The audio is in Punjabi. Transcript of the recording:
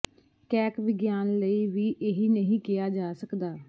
ਕੈਕ ਵਿਗਿਆਨ ਲਈ ਵੀ ਇਹੀ ਨਹੀਂ ਕਿਹਾ ਜਾ ਸਕਦਾ